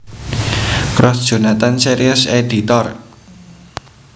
Cross Jonathan Series Editor